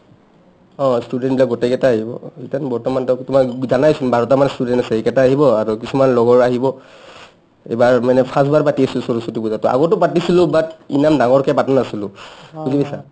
অ, student বিলাক গোটেই কেইটাই আহিব ইতান বৰ্তমান টৌক তোমাক জানায়েচোন বাৰটামান student আছে সেইকেইটা আহিব আৰু কিছুমান লগৰ আহিব এইবাৰ মানে first বাৰ পাতি আছো সৰস্বতী পূজা to আগতেও পাতিছিলো but ইমান ডাঙৰকৈ পাতা নাছিলো বুজি পাইছা?